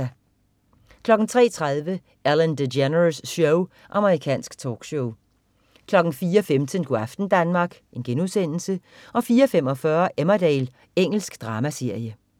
03.30 Ellen DeGeneres Show. Amerikansk talkshow 04.15 Go' aften Danmark* 04.45 Emmerdale. Engelsk dramaserie